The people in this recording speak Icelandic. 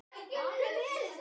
Lolla var í essinu sínu.